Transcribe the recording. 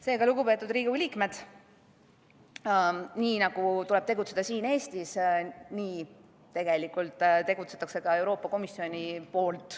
Seega, lugupeetud Riigikogu liikmed, nii nagu tuleb tegutseda siin Eestis, nii tegutseb ka Euroopa Komisjon.